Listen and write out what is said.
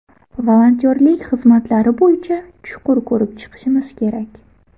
Volontyorlik xizmatlari bo‘yicha chuqur ko‘rib chiqishimiz kerak.